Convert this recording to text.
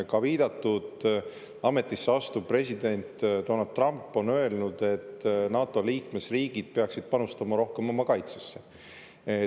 Ka viidatud ametisse astuv president Donald Trump on öelnud, et NATO liikmesriigid peaksid panustama rohkem oma kaitsesse.